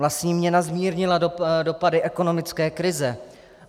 Vlastní měna zmírnila dopady ekonomické krize.